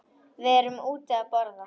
Við erum úti að borða.